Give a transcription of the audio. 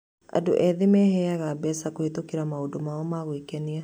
Andũ aingĩ ethĩ meheaga mbeca kũhĩtũkĩra maũndũ mao ma gwĩkenia.